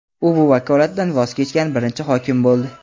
U bu vakolatdan voz kechgan birinchi hokim bo‘ldi.